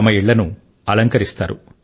తమ ఇళ్లను అలంకరిస్తారు